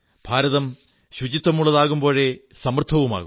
ഭാരതം ശുചിത്വമുള്ളതാകുമ്പോഴേ സമൃദ്ധവുമാകൂ